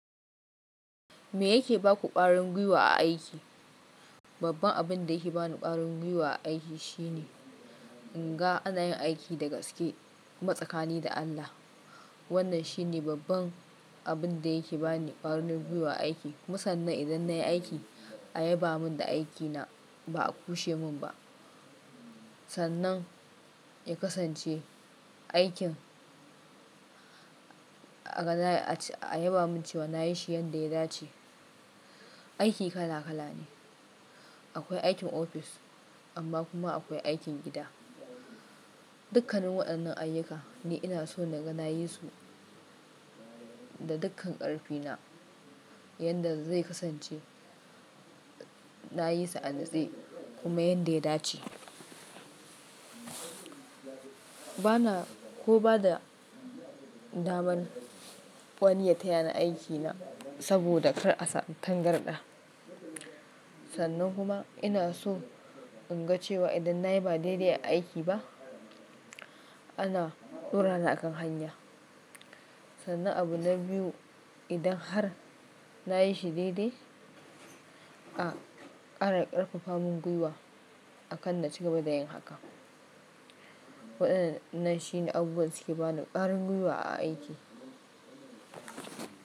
Me yake ba ku ƙarin gwiwa a aiki? Babban abin da yake ba ni ƙarin gwiwa a aiki shine in ga ana yin aiki da gaske matsakani da Allah. Wannan shine babban abin da yake ba ni ƙarin gwiwa a aiki. Musannan idan nayi aiki a yaba mun da aikina ba a kushe mun ba. Sannan ya kasance aikin a yaba mun cewa nayi shi yanda ya dace. Aiki kala kala ne. Akwai aikin ofis amma kuma akwai aikin gida. Dukkanin waɗannan ayyuka ne ina so na ga na yi su da dukkan ƙarfi na yanda zai kasance na yi su an nase kuma yanda ya dace. Bana ko bada daman wani ya taya ni aikina saboda kar a tangarɗa. Sannan kuma ina so in ga cewa idan nayi ba daidai a aiki ba ana ɗora ni a kan hanya. Sannan abu na biyu idan har na yi shi daidai a ƙara ƙarfafa mun gwiwa akan na ci gaba da yin haka. Waɗannan shine abubuwan suke ba ni ƙarin gwiwa a aiki.